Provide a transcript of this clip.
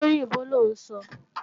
Ṣóyìnbó lọ́ ń sọ?